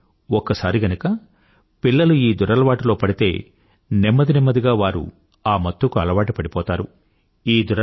కానీ ఒక్కసారి గనుక పిల్లలు ఈ దురలవాటులో పడితే నెమ్మది నెమ్మదిగా వారు ఆ మత్తుకి అలవాటు పడిపోతారు